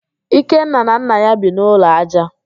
Ikenna na nna ya bi n'ụlọ ájá